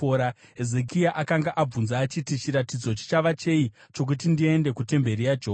Hezekia akanga abvunza achiti, “Chiratidzo chichava chei chokuti ndiende kutemberi yaJehovha?”